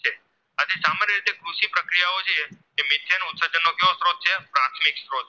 પ્રાથમિક સ્ત્રોત